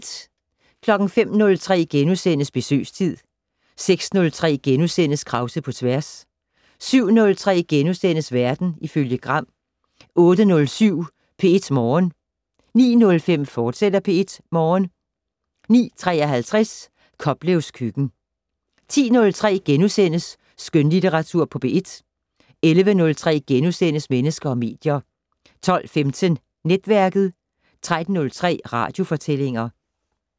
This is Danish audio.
05:03: Besøgstid * 06:03: Krause på tværs * 07:03: Verden ifølge Gram * 08:07: P1 Morgen 09:07: P1 Morgen, fortsat 09:53: Koplevs køkken 10:03: Skønlitteratur på P1 * 11:03: Mennesker og medier * 12:15: Netværket 13:03: Radiofortællinger